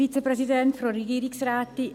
Ich erteile ihr das Wort.